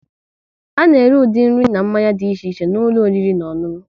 A na ere ụdị nri na mmanya dị iche iche n'ụlọ oriri na ọṅụṅụ